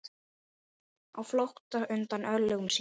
Á flótta undan örlögum sínum.